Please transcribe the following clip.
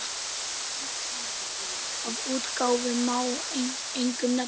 Af útgáfum má einkum nefna